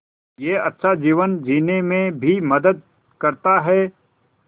यह अच्छा जीवन जीने में भी मदद करता है